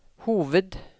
hoved